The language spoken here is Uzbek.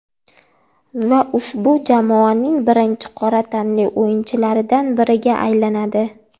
Va ushbu jamoaning birinchi qora tanli o‘yinchilaridan biriga aylanadi.